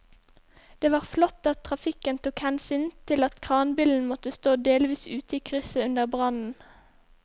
Det var flott at trafikken tok hensyn til at kranbilen måtte stå delvis ute i krysset under brannen.